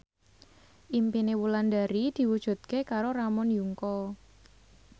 impine Wulandari diwujudke karo Ramon Yungka